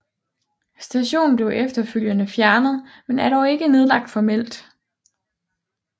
Stationen blev efterfølgende fjernet men er dog ikke nedlagt formelt